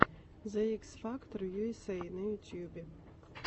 зе икс фактор ю эс эй на ютюбе